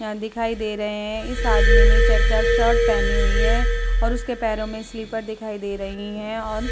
दिखाई दे रहे हैं इस आदमी ने चेकदार शर्ट पहनी हुई हैं और उसके पैरो में स्लीपर दिखाई दे रही हैं और --